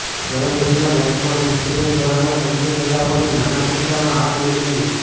ગરમ દૂધના ગ્લાસમાં બિસ્કિટિંગ સોડાના ચમચી ફેલાવો અને નાના પીંછાંમાં આ પીણું પીવું